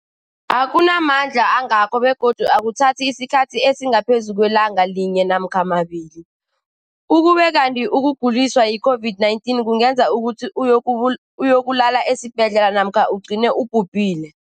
akuna mandla angako begodu akuthathi isikhathi esingaphezulu kwelanga linye namkha mabili, ukube kanti ukuguliswa yi-COVID-19 kungenza ukuthi uyokulala esibhedlela namkha ugcine ubhubhile.